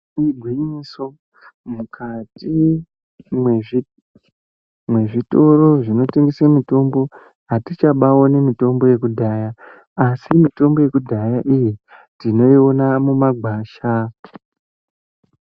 Igwinyiso mukati mezvitoro zvinotengeswa mitombo atichabaoni mitombo yekudhaya asi mitombo yekudhaya iyi tinoiona mumagwasha.